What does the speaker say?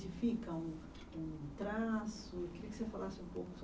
um, um traço? Queria que você falasse um pouco sobre